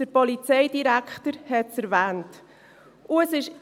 Der Polizeidirektor hat es erwähnt.